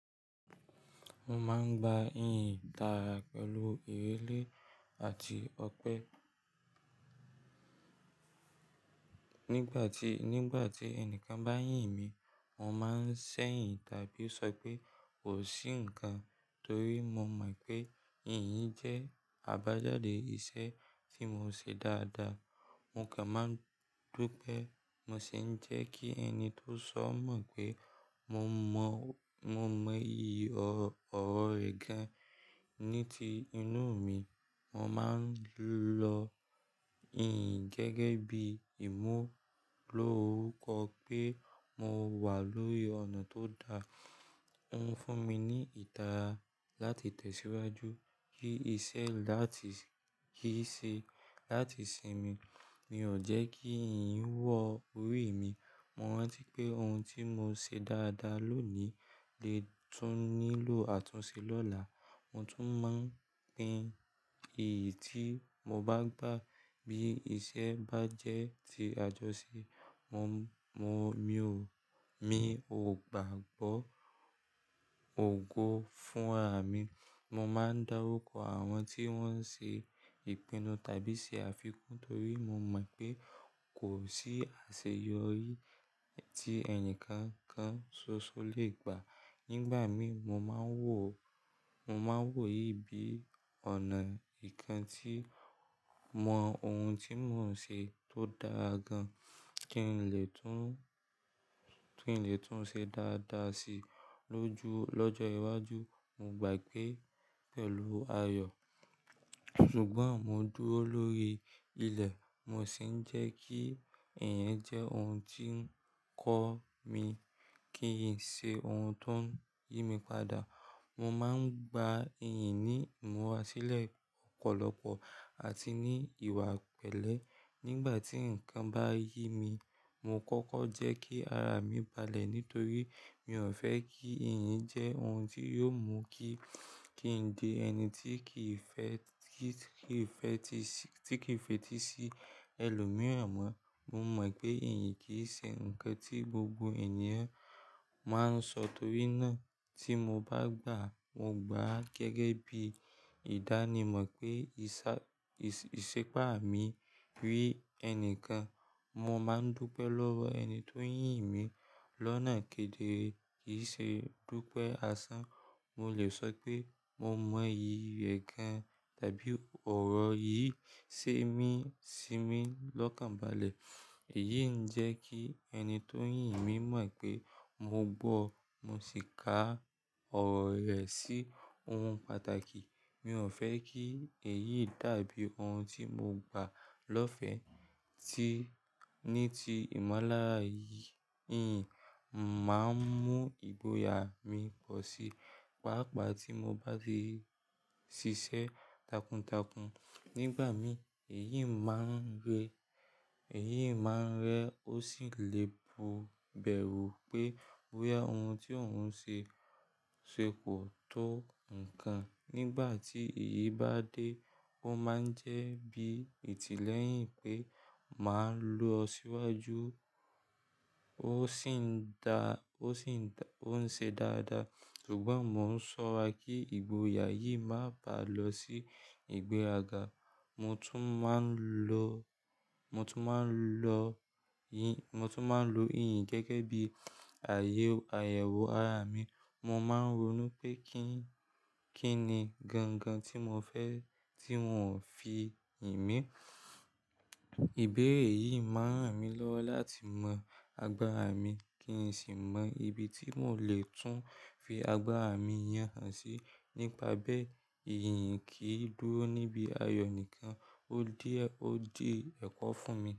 Mo máa ń gba ìyìn tára pẹ̀lú ìwé lẹ́ àti ọpẹ́. Nígbà tí, nígbà tí ẹnìkan bá yìn mí, mo máa ń ṣẹ́yìn tàbí sọ pé kò sí nǹkan torí mo mọ̀ pé ìyìn jẹ́ àbájáde iṣẹ́ tí mo ṣe dáadáa. Mo kàn máa ń dúpẹ́, mo sì ń jẹ́ kí ẹni tó sọ mọ̀ pé mo mọ̀, mo mọ ìyì ọ̀rọ̀ gaan. Ní ti inú mi, mo máa ń lo ìyìn gẹ́gẹ́ bí ìmú lọ́orukọ́ pé mo wà lórí ọ̀nà tó da. Ó ń fún mi ní ìtara láti tẹ̀síwájú, kí iṣẹ́ láti, kí i ṣe láti sinmi. Mi ò jẹ́ kí ìyìn wọ orí mi. Mo rántí pé ohun tí mo ṣe dáadáa lónìí le tún nílò àtúnṣe lọ́la. Mo tún máa ń pín iyí tí mo bá gbà bí iṣẹ́ bá jẹ́ ti àjọṣe. Mo, mo, mi ò, mi ò gbàgbọ́ ògo fún ara mi. Mo máa ń dárukò àwọn tí wọ́n ṣe ìpinnu tàbí ṣe àfikún torí mo mọ̀ pé kò sí àṣeyọrí tí ẹnìkankan ṣoṣo lè gbà. Nígbà mi mo máa ń wò, mo máa ń wò yìí bí ọ̀nà ìkan tí mọ ohun tí mò ń ṣe tó dáa gan-an kí n lè tún, kí n lè tún ṣe dáadáa si lóju, lọ́jọ́ iwájú. Mo gbà pé pẹ̀lú ayọ̀, ṣùgbọ́n mo dúró lórí ilẹ̀, mo sì ń jẹ́ kí iyi jẹ́ ohun tí ń kọ́ mi, kí n ṣe ohun tó ń yí mi padà. Mo máa ń gba ìyìn ní ìmúra sílẹ̀ ọ̀pọ̀lọpọ̀ àti ní ìwà pẹ̀lẹ́. Nígbà tí ǹkan bá ye mi, mo kọ́kọ́ jẹ́ kí ara mi balẹ̀ nítorí mi ò fẹ́ kí ìyìn jẹ́ ohun tí yóò mú kí, kí n di ẹni tí kì í fẹ́, tí kì í fẹ́ ti sí, tí kì í fetí sí ẹlòmíràn mọ́. Mo mọ̀ pé ìyìn kì í ṣe ǹkan tí gbogbo ènìyàn máa ń sọ torí náà tí mo bá gbà á, mo gbà á gẹ́gẹ́ bí ìdánimọ̀ pé ìṣà, ìṣépá mi rí ẹni kan. Mo máa ń dúpẹ́ lọ́wọ́ ẹni tó ń yìn mí lọ́nà kedere kì í ṣe dúpẹ́ àsán. Mo lè sọ pé mo mọ ìyì ẹ̀ gan tàbí ọ̀rọ̀ yìí ṣe mí sí mi lọ́kàn balẹ̀. Èyí ń jẹ́ kí ẹni tó ń yìn mí mọ̀ pé mo gbọ́, mo sì ka ọ̀rọ̀ rẹ̀ sí ohun pàtàkì. Mi ò fẹ́ kí èyí dàbí ohun tí mo gbà lọ́fẹ̀ẹ́. Ti, ní ti ìmọ́lára yìí, ìyìn máa ń mú ìgboyà mi pọ̀ sí, pàápàá tí mo bá ti ṣiṣẹ́ takuntakun. Nígbà mi èyí máa ń rẹ, èyí máa ń rẹ ó sì lè bu bẹ̀rù pé boya ohun tí òun ṣe ṣe kò tó ǹkan. Nígbà tí èyí bá dé, ó máa ń jẹ́ bí ìtílẹ́yìn pé màá lọ síwájú, ó sì ń dá, ó sì ń dá, ó ń ṣe dáadáa. Ṣùgbọ́n mo ń ṣọ́ra kí ìgboyà yìí má bàá lọ sí ìgbéraga. Mo tún máa ń lo, mo tún máa ń lo yìn, mo tún máa ń lo ìyìn gẹ́gẹ́ bí ààyè, àyẹ̀wò ara mi. Mo máa ń ronú pé kín, kíni gan-gan tí mo fẹ́ tí wọ́n ò fi yìn mí. Ìbéèrè yìí má ń ràn mí lọ́wọ́ láti mọ agbára mi kì n sì mọ ibi tí mò lè tún fi agbára mi yàn hán sí. Nípa bẹ́ẹ̀, ìyìn kì í dúró níbi ayọ̀ nìkan, ó díẹ̀, ó dì ẹ̀kọ́ fún mi.